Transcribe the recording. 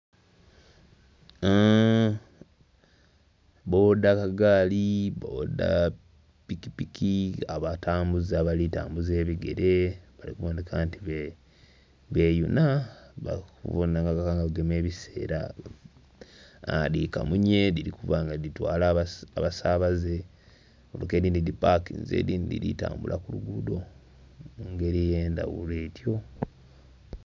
Bboda kagaali Bboda pikipiki, abatambuze abali tambuza ebigere bali kubonheka nti beyuna okubona nga bagema ebiseera. Dhi kamunye dhili kuba nga dhitwala abasaabaze. Mmotoka edhindhi dhipakinze edhindhi dhiri tambula ku luguudo, mu ngeri ey'endhaghulo etyo.